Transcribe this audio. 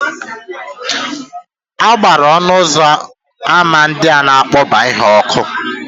A gbara ọnụ ụzọ ámá ndị a na-akpakọba ihe ọkụ.